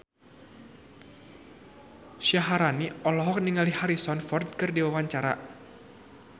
Syaharani olohok ningali Harrison Ford keur diwawancara